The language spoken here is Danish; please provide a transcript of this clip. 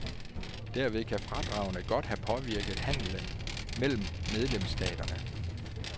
Derved kan fradragene godt have påvirket handelen mellem medlemsstaterne.